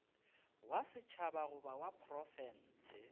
wa setšhaba goba wa profense